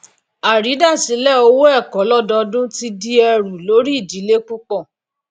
àrídasilẹ owó ẹkọ lododun ti di ẹrù lórí ìdílé púpọ